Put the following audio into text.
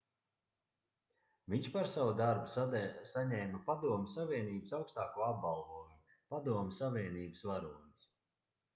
viņš par savu darbu saņēma padomju savienības augstāko apbalvojumu padomju savienības varonis